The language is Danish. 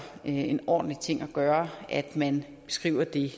en ordentlig ting at gøre at man skriver det